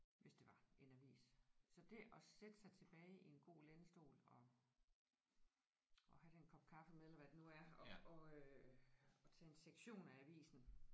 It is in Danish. Hvis det var en avis. Så det at sætte sig tilbage i en god lænestol og og have den kop kaffe med eller hvad det nu er og og øh og tage en sektion af avisen